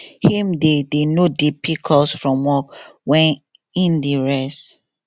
him dey dey no dey pick calls from work wen im dey rest